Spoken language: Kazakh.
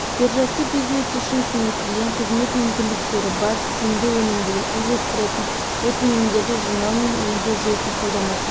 биржасы бизнес үшін кеңейтілген қызмет мүмкіндіктері бар тиімді өнімділікті үйлестіретін өтінімдерді жинау мен өңдеу жүйесін қолданатын